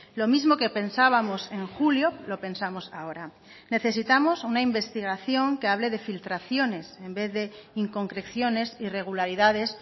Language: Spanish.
lo mismo que pensábamos en julio lo pensamos ahora necesitamos una investigación que hable de filtraciones en vez de inconcreciones irregularidades